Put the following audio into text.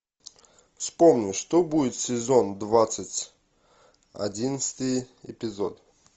вспомни что будет сезон двадцать одиннадцатый эпизод